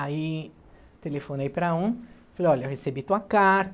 Aí, telefonei para um, falei, olha, eu recebi tua carta.